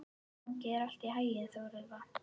Gangi þér allt í haginn, Þórelfa.